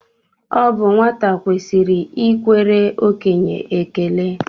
Ọ bụ nwata kwesịrị ikwere okenye ekele